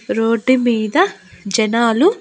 Road మీద జనాలు.